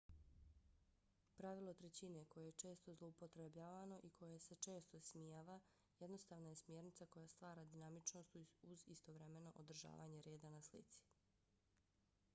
pravilo trećine koje je često zloupotrebljavano i koje se često ismijava jednostavna je smjernica koja stvara dinamičnost uz istovremeno održavanje reda na slici